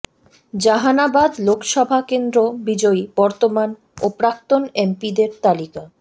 জাহানাবাদ লোকসভা কেন্দ্র বিজয়ী বর্তমান ও প্রাক্তন এমপিদের তালিকা